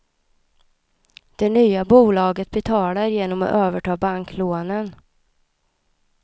Det nya bolaget betalar genom att överta banklånen.